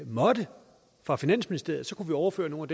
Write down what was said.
måtte for finansministeriet kunne overføre nogle